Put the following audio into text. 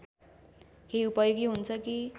केही उपयोगी हुन्छ कि